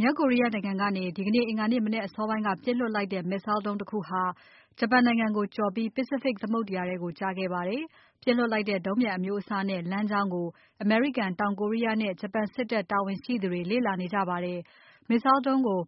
မြောက်ကိုရီးယားနိုင်ငံကနေ ဒီနေ့ အင်္ဂါနေ့မနက်အစောပိုင်းက ပစ်လွှတ်လိုက်တဲ့ Missile ဒုံးတခုဟာ ဂျပန်နိုင်ငံကို ကျော်ပြီး Pacific သမုဒ္ဒရာထဲကို ကျခဲ့ပါတယ်။ ပစ်လွှတ်လိုက်တဲ့ ဒုံးပျံအမျိုးအစားနဲ့ လမ်းကြောင်းကို အမေရိကန်၊ တောင်ကိုရီးယားနဲ့ ဂျပန်စစ်တပ်တာဝန်ရှိသူတွေ လေ့လာနေကြပါတယ်။ Missile ဒုံးကို